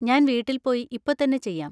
ഞാൻ വീട്ടിൽ പോയി ഇപ്പൊ തന്നെ ചെയ്യാം.